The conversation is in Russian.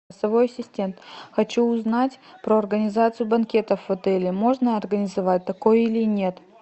голосовой ассистент хочу узнать про организацию банкетов в отеле можно организовать такое или нет